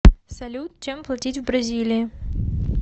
салют чем платить в бразилии